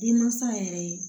Denmansa yɛrɛ ye